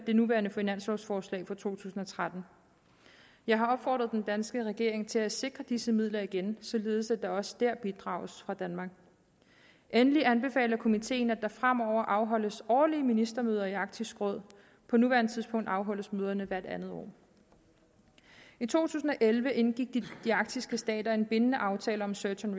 det nuværende finanslovforslag for to tusind og tretten jeg har opfordret den danske regering til at sikre disse midler igen således at der også der bidrages fra danmark endelig anbefaler komiteen at der fremover afholdes årlige ministermøder i arktisk råd på nuværende tidspunkt afholdes møderne hvert andet år i to tusind og elleve indgik de arktiske stater en bindende aftale om search and